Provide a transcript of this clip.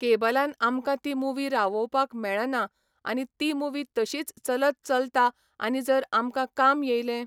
केबलान आमकां ती मुवी रावोवपाक मेळना आनी ती मुवी तशीच चलत चलता आनी जर आमकां काम येयलें